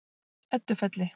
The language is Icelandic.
Eddufelli